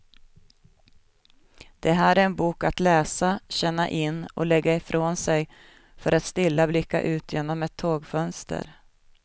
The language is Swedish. Det här är en bok att läsa, känna in och lägga ifrån sig för att stilla blicka ut genom ett tågfönster.